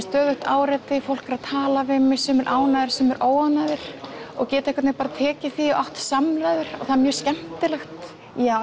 stöðugt áreiti fólk er að tala við mig sumir ánægðir og sumir óánægðir og geta bara tekið því og átt samræður er mjög skemmtilegt